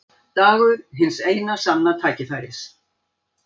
Dagur hins eina sanna tækifæris.